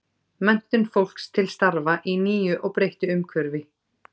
Menntun fólks til starfa í nýju og breyttu umhverfi.